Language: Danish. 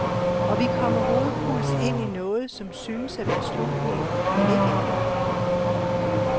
Og vi kommer hovedkuls ind i noget, som synes at være slutningen, men ikke er det.